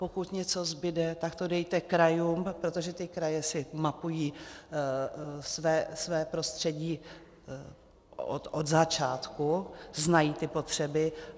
Pokud něco zbude, tak to dejte krajům, protože ty kraje si mapují své prostředí od začátku, znají ty potřeby.